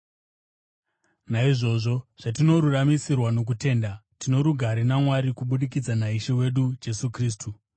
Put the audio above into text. Naizvozvo, zvatinoruramisirwa nokutenda, tino rugare naMwari kubudikidza naIshe wedu Jesu Kristu,